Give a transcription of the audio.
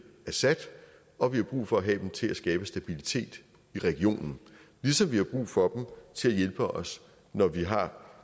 assad og vi har brug for at have dem til at skabe stabilitet i regionen ligesom vi har brug for til at hjælpe os når vi har